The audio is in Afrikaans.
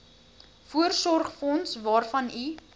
voorsorgsfonds waarvan u